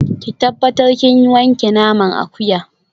Ki tabbatar kin wanke naman akuya